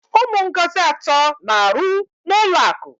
Ụmụ Ngozi atọ na-aru n'ulọ akụ.